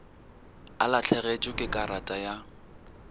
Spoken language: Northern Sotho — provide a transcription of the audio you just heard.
o lahlegetšwe ke karata ya